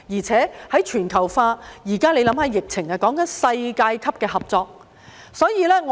隨着全球化，現時在疫情下，需要的是世界級的合作。